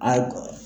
A